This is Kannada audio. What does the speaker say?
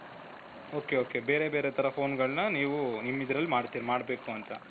ok ok ಬೇರೆ ಬೇರೆ ತರ phoneಗಳನ್ನ ನೀವು ನಿಮ್ಮಿದರಲ್ಲಿ ಮಾಡ್ತೀರಿ ಮಾಡ್ಬೇಕು ಅಂತ .